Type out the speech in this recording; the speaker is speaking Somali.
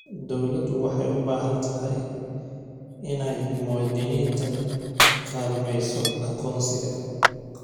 Dawladdu waxay u baahan tahay inay muwaaddiniinta kaalmayso aqoonsiga.